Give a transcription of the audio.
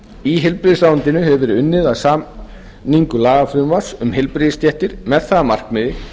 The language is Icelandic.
í heilbrigðisráðuneytinu hefur verið unnið að samningu lagafrumvarps um heilbrigðisstéttir með það að markmiði